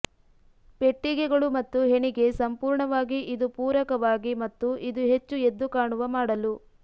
ಪೆಟ್ಟಿಗೆಗಳು ಮತ್ತು ಹೆಣಿಗೆ ಸಂಪೂರ್ಣವಾಗಿ ಇದು ಪೂರಕವಾಗಿ ಮತ್ತು ಇದು ಹೆಚ್ಚು ಎದ್ದುಕಾಣುವ ಮಾಡಲು